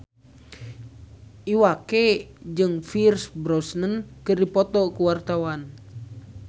Iwa K jeung Pierce Brosnan keur dipoto ku wartawan